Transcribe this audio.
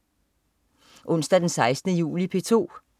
Onsdag den 16. juli - P2: